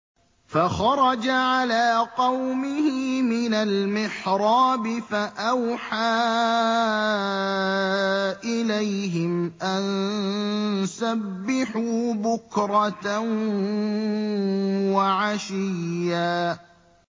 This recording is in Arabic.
فَخَرَجَ عَلَىٰ قَوْمِهِ مِنَ الْمِحْرَابِ فَأَوْحَىٰ إِلَيْهِمْ أَن سَبِّحُوا بُكْرَةً وَعَشِيًّا